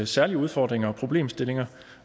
særlige udfordringer og problemstillinger